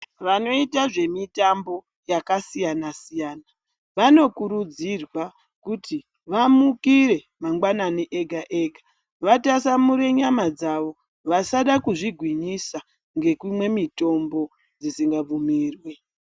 Vanoita zvemitombo yakasiyana siyana vanokurudzirwa kuti vamikire mangwanani ega ega vatasamure nyama dzavo vasada kuzvigwinyisa ngekumwe mitombo dzisingabvumirwi.